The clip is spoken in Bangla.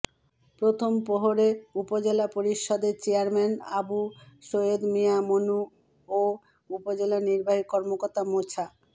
প্রথম প্রহরে উপজেলা পরিষদের চেয়ারম্যান আবু সাঈদ মিয়া মনু ও উপজেলা নির্বাহী কর্মকর্তা মোছা